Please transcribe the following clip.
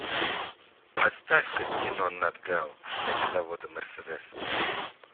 поставь ка кино нат гео мегазаводы мерседес